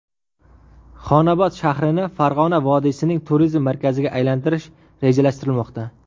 Xonobod shahrini Farg‘ona vodiysining turizm markaziga aylantirish rejalashtirilmoqda.